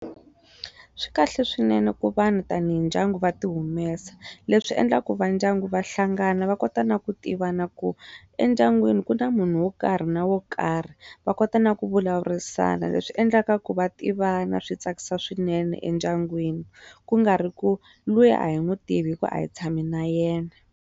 Swi kahle swinene ku vanhu tanihi ndyangu va ti humesa leswi endlaku va ndyangu va hlangana va kota na ku tivana ku endyangwini ku na munhu wo karhi na wo karhi va kota na ku vulavurisana leswi endlaka ku va tivana swi tsakisa swinene endyangwini ku nga ri ku luya a hi n'wi tivi hi ku a hi tshami na yena.